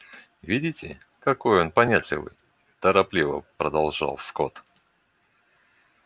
видите какой он понятливый торопливо продолжал скотт